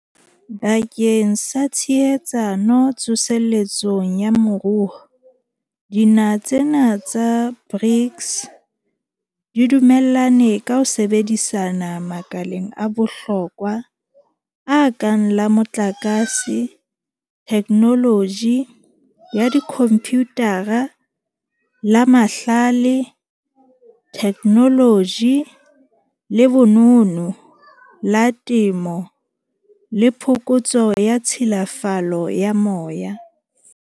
Bakeng sa tshehetsano tso seletsong ya moruo, dinaha tsena tsa BRICS di dumellane ka ho sebedisana makaleng a bohlokwa a kang la motlakase, thekenoloji ya dikhomputara, la mahlale, thekenoloji le bonono, la temo le phokotso ya tshilafalo ya moya.